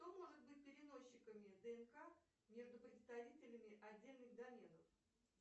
кто может быть переносчиками днк между представителями отдельных доменов